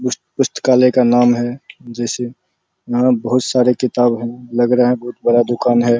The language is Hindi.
उस पुस्तकालय का नाम है जिसे यहाँ बहुत सारे किताब हैं लग रहा है बहुत बड़ा दुकान है |